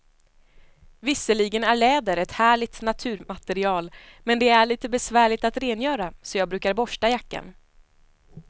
Visserligen är läder ett härligt naturmaterial, men det är lite besvärligt att rengöra, så jag brukar borsta jackan.